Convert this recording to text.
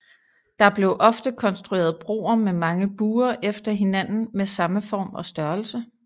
Der blev ofte konstrueret broer med mange buer efter hinanden med samme form og størrelse